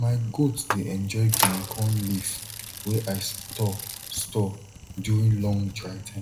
my goat dey enjoy guinea corn leaf wey i store store during long dry time